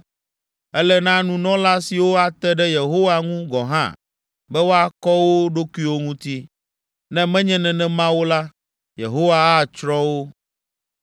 Ele na nunɔla siwo ate ɖe Yehowa ŋu gɔ̃ hã be woakɔ wo ɖokuiwo ŋuti; ne menye nenema o la, Yehowa atsrɔ̃ wo.”